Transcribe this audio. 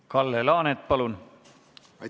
Kalle Laanet, palun!